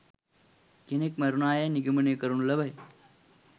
කෙනෙක් මැරුණායැයි නිගමනය කරනු ලබයි.